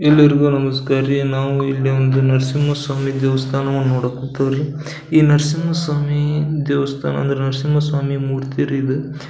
ಎಲ್ಲರಿಗು ನಮಸ್ಕಾರ ರೀ ನಾವು ಇಲ್ಲಿ ಒಂದು ನರಸಿಂಹ ಸ್ವಾಮಿ ದೇವಸ್ಥಾನವನ್ನು ನೋಡೋಕೆ ಹೋಗತೀವಿರೀ ಈ ನರಸಿಂಹ ಸ್ವಾಮಿ ದೇವಸ್ಥಾನವನ್ನು ಅಂದ್ರೆ ನರಸಿಂಹ ಸ್ವಾಮಿ ಮೂರ್ತಿ ರೀ ಇದು .